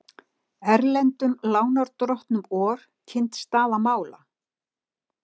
Erlendum lánardrottnum OR kynnt staða mála